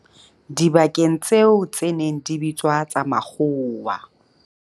dibakeng tseo tse neng di bitswa tsa makgowa.